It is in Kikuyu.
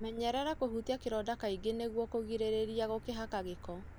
menyerera kũhutia kĩronda kaingĩ nĩguo kũgirĩrĩria gũkĩhaka gĩko.